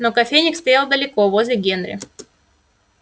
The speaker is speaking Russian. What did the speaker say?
но кофейник стоял далеко возле генри